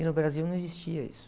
E no Brasil não existia isso.